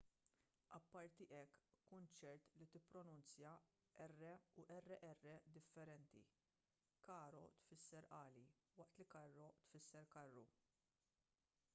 apparti hekk kun ċert li tippronunzja r u rr differenti caro tfisser għali waqt li carro tfisser karru